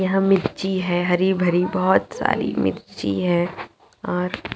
यहाँ मिर्ची है हरी-भरी बहुत सारी मिर्ची है और--